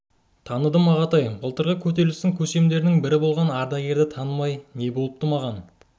таныдым ағатай былтырғы көтерілістің көсемдерінің бірі болған ардагерді танымай не болыпты маған аруақ тозса жын болар